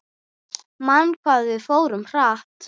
Man hvað við fórum hratt.